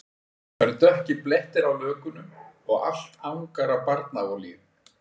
Það eru dökkir blettir á lökunum og allt angar af barnaolíu